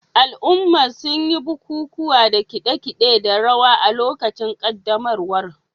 Al'ummar sun yi bukukuwa da kade-kade da rawa a lokacin ƙaddamarwar.